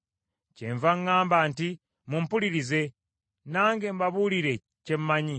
“Kyenva ŋŋamba nti, Mumpulirize, nange mbabuulire kye mmanyi.